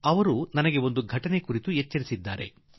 ಅವರು ಒಂದು ಘಟನೆಯ ಕುರಿತು ನನಗೆ ತಿಳಿಸಿದ್ದಾರೆ